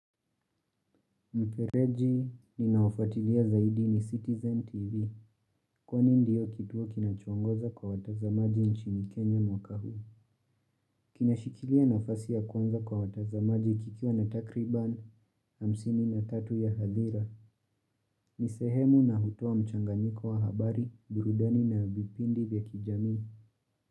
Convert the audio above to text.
Mpereji, ninaofatilia zaidi ni Citizen TV. Kwani ndiyo kituo kinacho ongoza kwa watazamaji nchini Kenya mwaka huu. Kinashikilia nafasi ya kwanza kwa watazamaji kikiwa na takriban hamsini na tatu ya hadira. Nisehemu na hutua mchanganyiko wa habari, burudani vipindi vya kijamii.